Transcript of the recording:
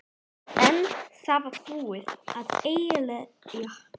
En það var búið að eyðileggja fyrir mér frekari bardaga.